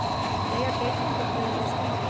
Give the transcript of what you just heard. Deyja geitungar þegar þeir stinga?